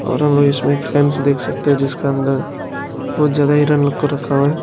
और वो हम इसमें एक फेंस देख सकते हैं जिसका अंदर बहुत ज्यादा हिरण लोग को रखा हुआ है।